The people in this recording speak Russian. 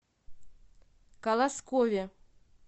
колоскове